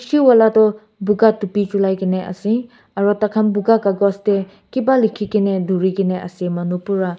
vala tu boga topi pelai kina ase aru tar khan boga kagos te kiba likhe kine dori kine ase manu pura--